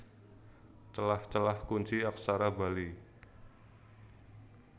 Celah Celah Kunci Aksara Bali